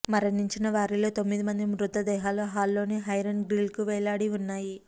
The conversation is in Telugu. మరణించిన వారిలో తొమ్మిది మంది మృతదేహాలు హాల్లోని ఐరన్ గ్రిల్కు వేలాడి ఉన్నాయి